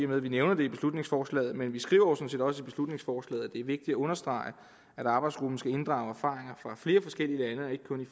med at vi nævner det i beslutningsforslaget men vi skriver jo sådan set også i beslutningsforslaget er vigtigt at understrege at arbejdsgruppen skal inddrage erfaringer fra flere forskellige lande